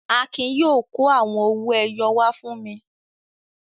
Akin yóò kó àwọn owó-ẹyọ wá fún mi.